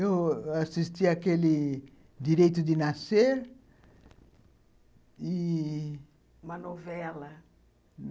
Eu assistia aquele Direito de Nascer e... Uma novela?